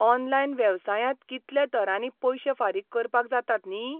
Online वेवसायांत कितल्या तरांनी पयशे फारीक करपाक जातात न्ही!